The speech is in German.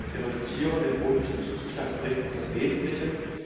Sie reduzieren den Bodenzustandsbericht auf das Wesentliche